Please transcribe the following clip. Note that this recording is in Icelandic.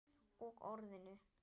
Og Orðinu.